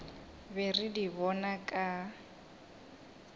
be re di bona ka